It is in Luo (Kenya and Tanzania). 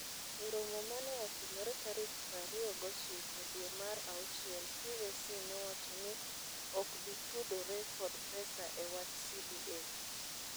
E romo mane otimore tarik prario gochiko dwe mar auchiel TSC nowacho ni okbitudore kod pesa e wach CBA.